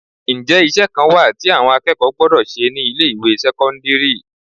Ǹjẹ́ iṣẹ́ kan wà tí àwọn akẹ́kọ̀ọ́ gbọ́dọ̀ ṣe ni ilé ìwé sẹ́kọ́ńdírì?